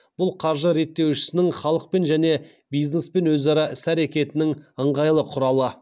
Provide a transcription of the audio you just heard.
бұл қаржы реттеушісінің халықпен және бизнеспен өзара іс әрекетінің ыңғайлы құралы